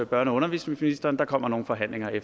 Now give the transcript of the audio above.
børne og undervisningsministeren der kommer nogle forhandlinger i